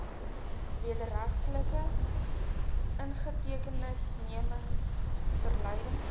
wederregtelike inhegtenisneming verleiding